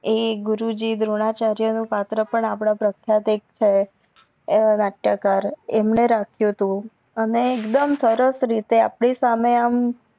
એ ગુરુજી દ્રોણાચાર્ય નું પત્ર પણ આપડા પ્રખ્યાત એક છે એવા નાટ્યકાર અમને રચિયું તું અને એકદમ સરસ રીતે અપડી સહમે એમ